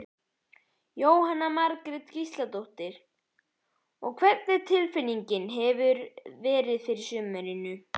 Jóhanna Margrét Gísladóttir: Og hvernig tilfinningu hefurðu fyrir sumrinu?